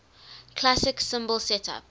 classic cymbal setup